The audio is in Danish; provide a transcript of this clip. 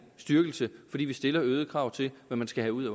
styrkelse fordi vi stiller øgede krav til hvad man skal have ud